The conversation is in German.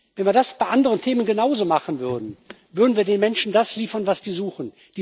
Wenn wir das bei anderen Themen genauso machen würden, würden wir den Menschen das liefern, was sie suchen.